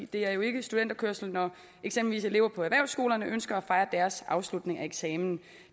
det er jo ikke studenterkørsel når eksempelvis elever på erhvervsskolerne ønsker at fejre deres afslutning af eksamen